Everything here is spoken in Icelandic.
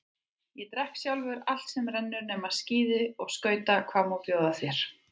Ég drekk sjálfur allt sem rennur nema skíði og skauta, hvað má bjóða þér?